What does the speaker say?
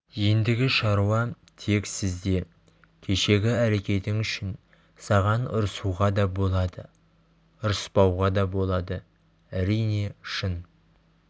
ендігі шаруа тек сізде кешегі әрекетің үшін саған ұрсуға да болады ұрыспауға да болады әрине шын